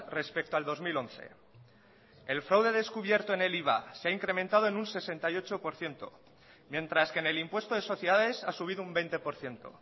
respecto al dos mil once el fraude descubierto en el iva se ha incrementado en un sesenta y ocho por ciento mientras que en el impuesto de sociedades ha subido un veinte por ciento